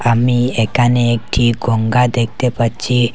আমি একানে একটি গঙ্গা দেখতে পাচ্চি ।